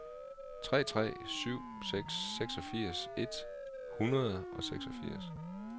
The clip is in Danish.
tre tre syv seks seksogfirs et hundrede og seksogfirs